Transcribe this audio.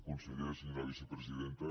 conseller senyora vicepresidenta